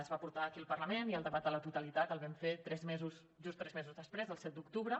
es va portar aquí al parlament i el debat de la totalitat el vam fer just tres mesos després el set d’octubre